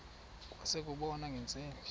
kwase kubonwa ngeentsimbi